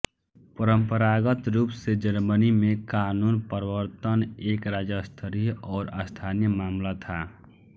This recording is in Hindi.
परंपरागत रूप से जर्मनी में कानून प्रवर्तन एक राज्यस्तरीय और स्थानीय मामला था